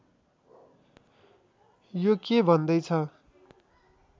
यो के भन्दै छ